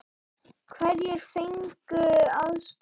Hverjir fengu aðstoð?